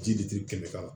Ji de ti kɛnɛ kan